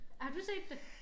Har du set det?